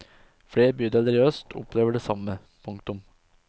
Flere bydeler i øst opplever det samme. punktum